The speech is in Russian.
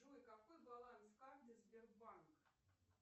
джой какой баланс карты сбербанк